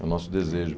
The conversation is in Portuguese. É o nosso desejo.